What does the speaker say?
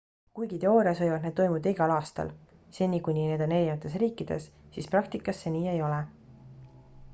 kuigi teoorias võivad need toimuda igal aastal seni kuni need on erinevates riikides siis praktikas see nii ei ole